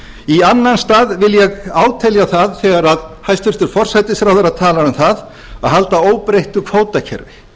í annan stað vil ég átelja það þegar hæstvirtur forsætisráðherra talar um að halda óbreyttu kvótakerfi